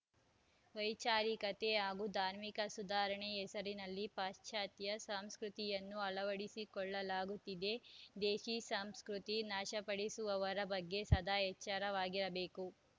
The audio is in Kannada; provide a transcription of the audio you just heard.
ವೈಚಾರಿಕತೆ ಹಾಗೂ ಧಾರ್ಮಿಕ ಸುಧಾರಣೆ ಹೆಸರಿನಲ್ಲಿ ಪಾಶ್ಚಾತ್ಯ ಸಂಸ್ಕೃತಿಯನ್ನು ಅಳವಡಿಸಲಾಗುತ್ತಿದೆ ದೇಸಿ ಸಂಸ್ಕೃತಿ ನಾಶಪಡಿಸುವವರ ಬಗ್ಗೆ ಸದಾ ಎಚ್ಚರವಾಗಿರಬೇಕು